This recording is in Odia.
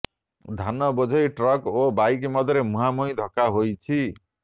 ଧାନ ବୋଝେଇ ଟ୍ରକ୍ ଓ ବାଇକ୍ ମଧ୍ୟରେ ମୁହାଁମୁହିଁ ଧକ୍କା ହୋଇଛି